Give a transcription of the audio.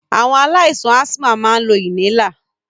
Awon alaisan asthma ma n lo inhaler.